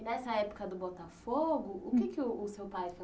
E nessa época do Botafogo, o que que o o seu pai